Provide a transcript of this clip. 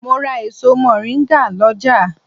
Mo ra èso mọ̀ríngà lọ́jà